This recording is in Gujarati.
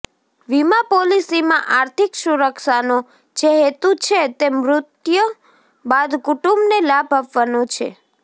વીમા પોલિસીમાં આર્થિક સુરક્ષાનો જે હેતુ છે તે મૃત્યુ બાદ કુટુંબને લાભ આપવાનો છે